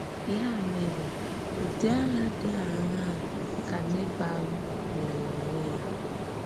Ya mèrè, Ụ́dị Àhà Dị Àṅaa ka Nèbàl mèrè onwè ya?